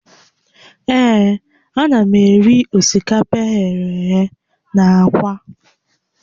Ee, ana m eri osikapa eghere eghe na aka